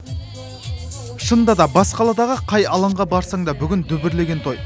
шынында да бас қаладағы қай алаңға барсаң да бүгін дүбірлеген той